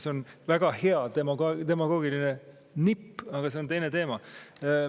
See on väga hea demagoogiline nipp, aga see on teine teema.